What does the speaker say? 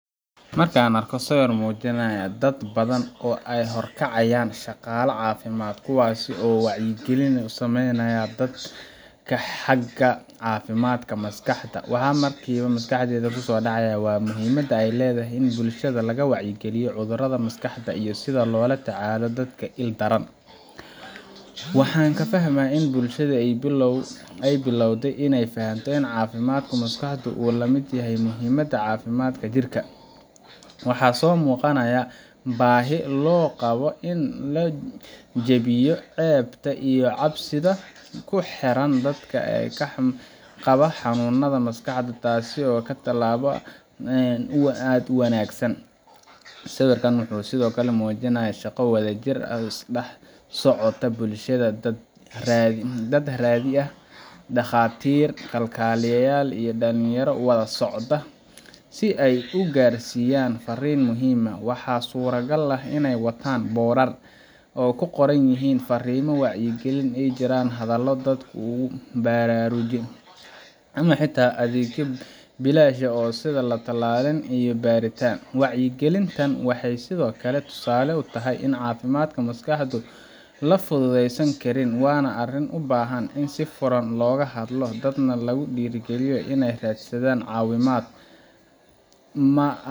Marka aan arko sawir muujinaya dad badan oo ay horkacayaan shaqaalaha caafimaadka, kuwaasoo wacyigelin u sameynaya dadka xagga caafimaadka maskaxda, waxa markiiba maskaxdayda ku soo dhacaya muhiimadda ay leedahay in bulshada laga wacyigeliyo cudurrada maskaxda iyo sida loola tacaalo dadka la il daran. Waxaan ka fahmaa in bulshada ay bilowday inay fahanto in caafimaadka maskaxdu uu lamid yahay muhiimadda caafimaadka jirka. Waxaa soo muuqanaya baahi loo qabo in la jebiyo ceebta iyo cabsida ku xeeran dadka qaba xanuunnada maskaxda, taasoo ah tallaabo aad u wanaagsan. Sawirka wuxuu sidoo kale muujinayaa shaqo wadajir ah oo ka dhex socota bulshada – dad rayid ah, dhakhaatiir, kalkaaliyeyaal iyo dhallinyaro wada socda si ay u gaarsiiyaan fariin muhiim ah. Waxaa suuragal ah inay wataan boorar ay ku qoran yihiin fariimo wacyigelin ah, ay jiraan hadallo dadku ku baraarugaan, ama xitaa adeegyo bilaash ah sida latalin iyo baaritaan. Wacyigelintan waxay sidoo kale tusaale u tahay in caafimaadka maskaxda la fududaysan karin – waa arrin u baahan in si furan looga hadlo, dadkana lagu dhiirrigeliyo inay raadsadaan caawimaad